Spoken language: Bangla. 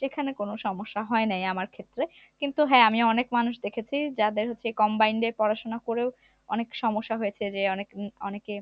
সেখানে কোন সমস্যাই হয়নি আমার ক্ষেত্রে কিন্তু হ্যা আমি অনেক মানুষই দেখেছি যাদের হচ্ছে combined পড়াশোনা করেও অনেক সমস্যা হয়েছে যে অনেক হম অনেকে